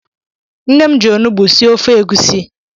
Nnem ji olụgbụ sie ofe egusi